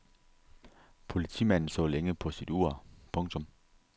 Politimanden så længe på sit ur. punktum